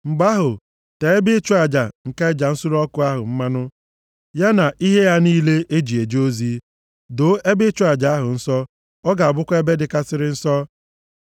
Mgbe ahụ, tee ebe ịchụ aja nke aja nsure ọkụ ahụ mmanụ ya na ihe ya niile e ji eje ozi. Doo ebe ịchụ aja ahụ nsọ, ọ ga-abụkwa ebe dịkarịsịrị nsọ.